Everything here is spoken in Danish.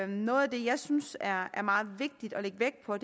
noget af det jeg synes er meget vigtigt at lægge vægt på